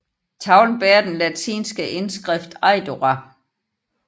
Tavlen bærer den latinske indskrift Eidora